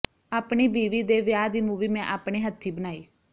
ਆਪਣੀ ਬੀਵੀ ਦੇ ਵਿਆਹ ਦੀ ਮੂਵੀ ਮੈਂ ਆਪਣੇ ਹੱਥੀਂ ਬਣਾਈ